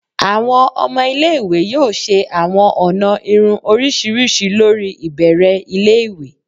Awọn ọmọ ile-iwe yoo ṣe awọn ọna irun oriṣiriṣi lori ibẹrẹ ile-iwe.